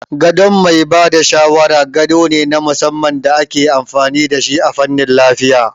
Gadon mai ba da shawara gado ne na musamman da ake amfani da shi a fannin lafiya